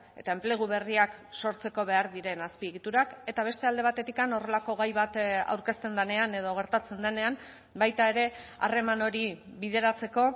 eta enplegu berriak sortzeko behar diren azpiegiturak eta beste alde batetik horrelako gai bat aurkezten denean edo gertatzen denean baita ere harreman hori bideratzeko